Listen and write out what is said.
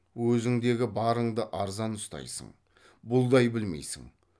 өзіңдегі барыңды арзан ұстайсың бұлдай білмейсің